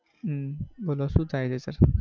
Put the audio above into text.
અમ બોલો શું થાય છે sir?